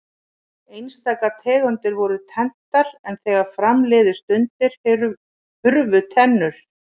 Einstaka tegundir voru tenntar en þegar fram liðu stundir hurfu þessar tennur.